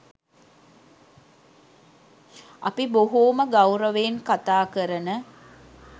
අපි බොහෝම ගෞරවයෙන් කතා කරන